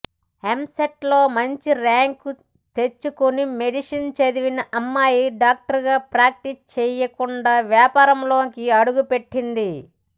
ఎంసెట్లో మంచి ర్యాంక్ తెచ్చుకుని మెడిసిన్ చదివిన అమ్మాయి డాక్టర్గా ప్రాక్టీస్ చేయకుండా వ్యాపారంలోకి అడుగుపెట్టింది